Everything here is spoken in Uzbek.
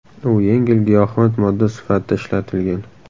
U yengil giyohvand modda sifatida ishlatilgan.